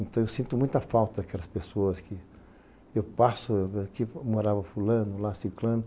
Então eu sinto muita falta daquelas pessoas que eu passo, que morava fulano, lá, ciclano.